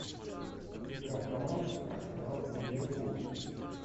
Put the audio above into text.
игра команд арсенал и ливерпуль